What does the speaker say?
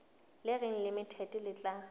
le reng limited le tla